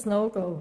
ein No-Go.